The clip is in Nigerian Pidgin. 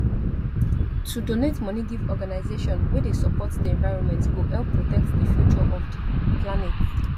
to donate money give organization wey dey support di environment go help protect di future of di planet